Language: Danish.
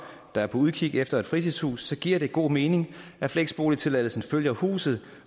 der er på udkig efter et fritidshus giver det god mening at fleksboligtilladelsen følger huset